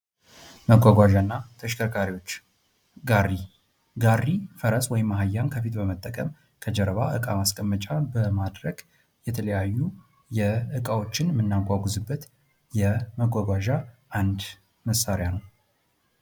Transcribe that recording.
መጕጕዣ እና ተሽከርካሪዎች ጋሪ ጋሪ ፈረስ ወይም አህያን ከፊት በመጠቀም ከጀርባ ዕቃ ማስቀመጫ በማድረግ የተለያዩ እቃዎችን የምናጕጉዝበት የመጕጕዣ አንድ መሳሪያ ነው::